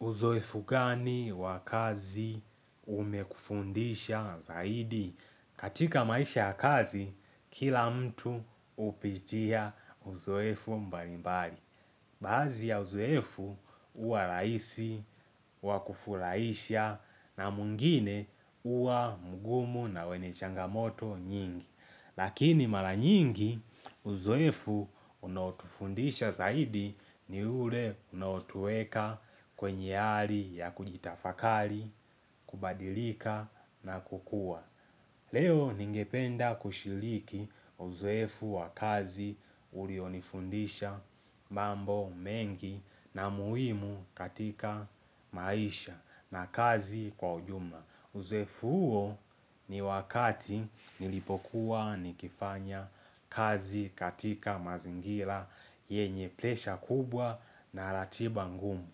Uzoefu gani wa kazi umekufundisha zaidi? Katika maisha ya kazi, kila mtu hupitia uzoefu mbalimbali. Baadhi ya uzoefu huwa rahisi, wa kufurahisha, na mwingine huwa mgumu na wenye changamoto nyingi. Lakini mara nyingi uzoefu unaotufundisha zaidi ni ule unaotuweka kwenye hali ya kujitafakari, kubadilika na kukuwa. Leo ningependa kushiriki uzoefu wa kazi ulionifundisha mambo mengi na muhimu katika maisha na kazi kwa ujumla. Uzoefu huo ni wakati nilipokuwa nikifanya kazi katika mazingira yenye presha kubwa na ratiba ngumu.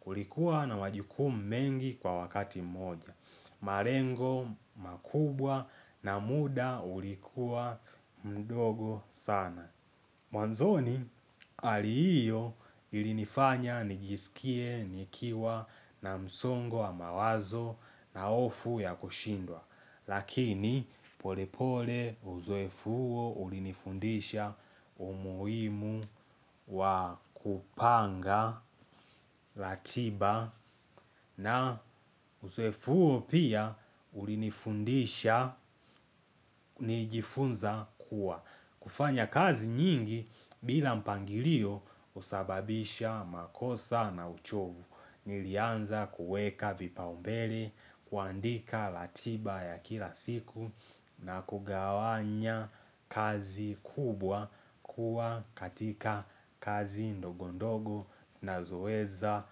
Kulikuwa na majukumu mengi kwa wakati moja. Malengo makubwa na muda ulikuwa mdogo sana. Mwanzoni hali hiyo ilinifanya nijiskie, nikiwa na msongo wa mawazo na hofu ya kushindwa. Lakini pole pole uzoefu huo ulinifundisha umuhimu wa kupanga, ratiba na uzoefu huo pia ulinifundisha nilijifunza kuwa. Kufanya kazi nyingi bila mpangilio husababisha makosa na uchovu. Nilianza kuweka vipaumbele, kuandika ratiba ya kila siku na kugawanya kazi kubwa kuwa katika kazi ndogondogo zinazoweza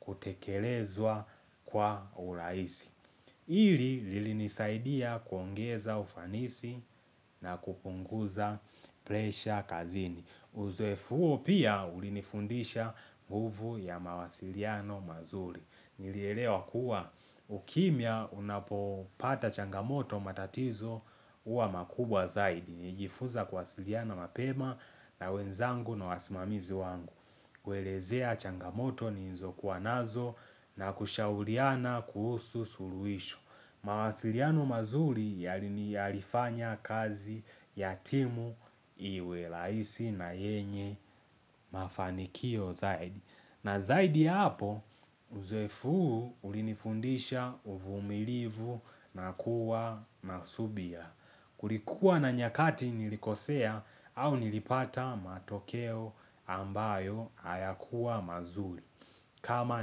kutekelezwa kwa urahisi. hiIi lilinisaidia kuongeza ufanisi na kupunguza presha kazini. Uzoefu huo pia ulinifundisha nguvu ya mawasiliano mazuri. Nilielewa kuwa ukimya unapopata changamoto matatizo huwa makubwa zaidi. Nilijifunza kuwasiliana mapema na wenzangu na wasimamizi wangu. Kuelezea changamoto nilizokuwa nazo na kushauriana kuhusu suluhisho. Mawasiliano mazuri yalifanya kazi ya timu iwe rahisi na yenye mafanikio zaidi. Na zaidi ya hapo, uzoefu huu ulinifundisha uvumilivu na kuwa na subira. Kulikuwa na nyakati nilikosea au nilipata matokeo ambayo hayakuwa mazuri kama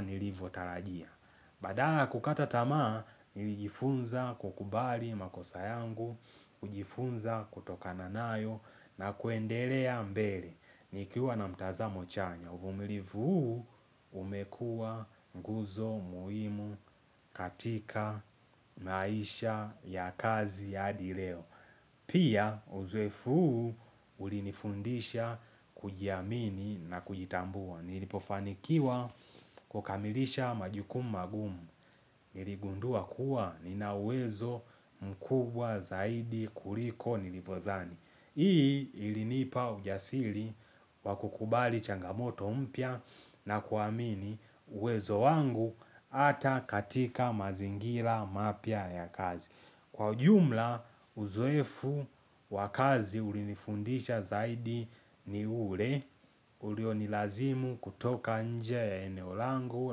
nilivotarajia. Badala ya kukata tama, nilijifunza kukubali makosa yangu, kujifunza kutokana nayo na kuendelea mbele. Nikiwa na mtazamo chanya, uvumilivu huu umekuwa nguzo muhimu katika maisha ya kazi ya adi leo. Pia uzoefu huu ulinifundisha kujiamini na kujitambua. Nilipofanikiwa kukamilisha majukumu magumu. Niligundua kuwa ninauwezo mkubwa zaidi kuliko nilivyodhani. Hii ilinipa ujasiri wa kukubali changamoto mpya na kuamini uwezo wangu hata katika mazingira mapya ya kazi. Kwa ujumla, uzoefu wa kazi ulinifundisha zaidi ni ule, ulionilazimu kutoka nje ya eneo langu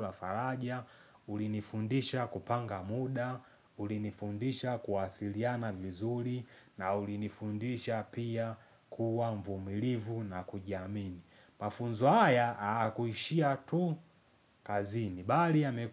la faraja, ulinifundisha kupanga muda, ulinifundisha kuwasiliana vizuri, na ulinifundisha pia kuwa mvumilivu na kujiamini. Mafunzo haya, haya kuishia tu kazini bali yame.